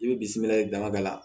I bɛ bisimilali damadɔ la